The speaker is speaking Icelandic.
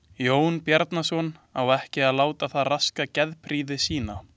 Jón Bjarnason á ekki að láta það raska geðprýði sinni.